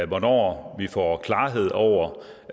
hvornår vi får klarhed over